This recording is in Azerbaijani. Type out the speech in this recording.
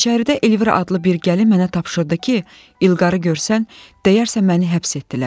İçəridə Elvira adlı bir gəlin mənə tapşırdı ki, İlqarı görsən, deyərsən məni həbs etdilər.